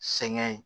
Sɛŋɛ